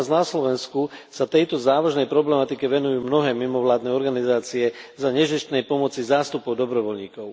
Aj u nás na Slovensku sa tejto závažnej problematike venujú mnohé mimovládne organizácie za nezištnej pomoci zástupov dobrovoľníkov.